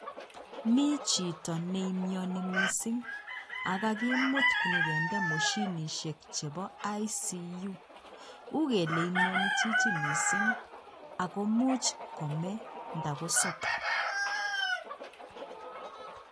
Mi chito ne imioni mising ak kagimuut konyo kinde moshinisiek chebo Intensive Care Unit. Ukele imiani chichi mising ak komuch kome nda kosop.